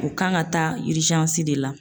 U kan ka taa de la.